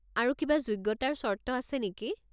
আৰু কিবা যোগ্যতাৰ চৰ্ত আছে নেকি?